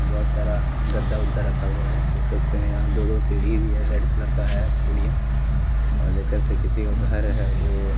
बहुत सारा गद्दा उद्दा रखा हुआ है देख सकते हैं यहाँ दो दो सीढ़ी भी है रेड कलर का है बढ़िया और देख सकते हैं किसी का घर है वोोो --